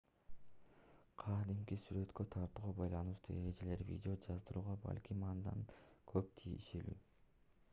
кадимки сүрөткө тартууга байланыштуу эрежелер видео жаздырууга балким андан да көп тиешелүү